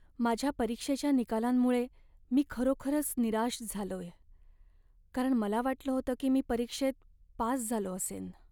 माझ्या परीक्षेच्या निकालांमुळे मी खरोखरच निराश झालोय, कारण मला वाटलं होतं की मी परीक्षेत पास झालो असेन.